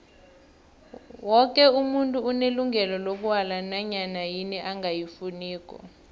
woke umuntu unelungelo lokwala nanyana yini angayifuniko